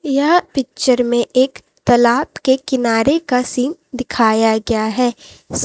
यह पिक्चर में एक तलाब के किनारे का सीन दिखाया गया है।